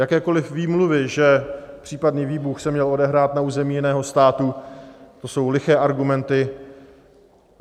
Jakékoli výmluvy, že případný výbuch se měl odehrát na území jiného státu, to jsou liché argumenty.